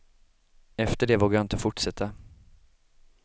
Efter det vågade jag inte fortsätta.